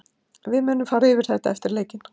Við munum fara yfir þetta eftir leikinn.